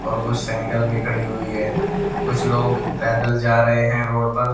और कुछ सिंगल भी खड़ी हुई है कुछ लोग पैदल जा रहे हैं रोड पर।